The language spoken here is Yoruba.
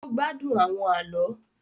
O gbádùn awọn àlọ